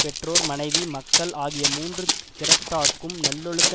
பெற்றோர் மனைவி மக்கள் ஆகிய மூன்று திறத்தார்க்கும் நல்லலொழுக்க